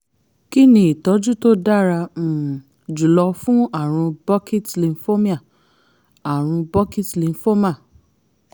kí ni ìtọ́jú tó dára um jùlọ fún àrùn burkitt's lymphomia àrùn burkitt's lymphoma